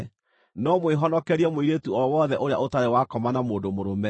no mwĩhonokerie mũirĩtu o wothe ũrĩa ũtarĩ wakoma na mũndũ mũrũme.